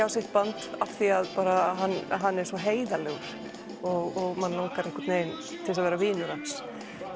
á sitt band af því að hann hann er svo heiðarlegur og mann langar til þess að vera vinur hans